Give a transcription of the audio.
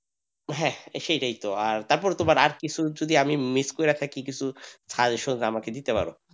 হ্যাঁ সেটাই তো তারপর তোমার আর কিছু যদি আমি miss করে থাকি কিছু suggestion আমাকে দিতে পারো,